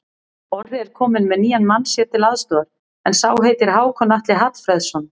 Orri er kominn með nýjan mann sér til aðstoðar, en sá heitir Hákon Atli Hallfreðsson.